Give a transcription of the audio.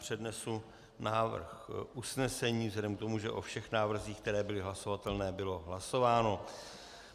Přednesu návrh usnesení vzhledem k tomu, že o všech návrzích, které byly hlasovatelné, bylo hlasováno.